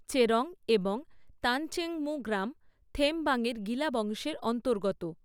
চেরোং এবং তাংচেনমু গ্রাম থেমবাং এর গিলা বংশের অন্তর্গত।